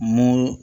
Mun